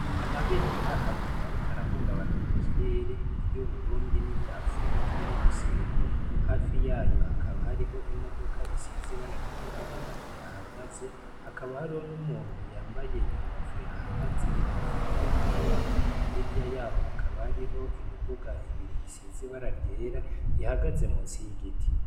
Amabendera abiri ariko arahungabana mu kirere iry'Uburundi ni rya Afurika y'ubuseruko hafi yayo hakaba hariho imodoka isize ibara ryirabura ihahagaze ,hakaba hariho n'umuntu yambaye inkofero ahagaze hafi yiyo modoko ,hirya yaho hakaba hariho imiduga ibiri isize ibara ryera ihagaze musi y'igiti.